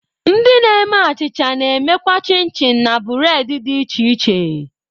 Ndi na-eme achicha na-emekwa chin-chin na bureedi dị iche iche